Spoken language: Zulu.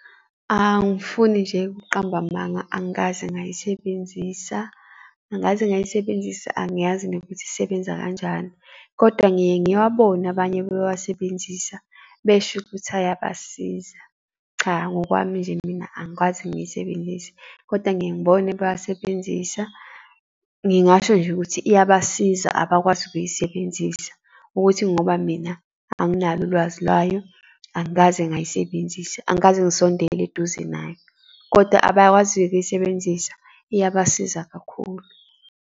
Angifuni nje ukuqamba amanga, angikaze ngayisebenzisa, angikaze ngayisebenzisa, angiyazi nokuthi isebenza kanjani, kodwa ngike ngiwabone abanye bewasebenzisa besho ukuthi ayabasiza. Cha, ngokwami nje mina angikwazi ngiyisebenzise, kodwa ngike ngibone bewasebenzisa. Ngingasho nje ukuthi iyabasiza abakwazi ukuyisebenzisa, ukuthi ngoba mina anginalo ulwazi layo, angikaze ngayisebenzisa, angikaze ngisondele eduze nayo, kodwa abakwaziyo ukuyisebenzisa iyabasiza kakhulu.